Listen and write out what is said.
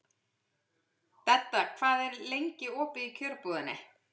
Dedda, hvað er lengi opið í Kjörbúðinni?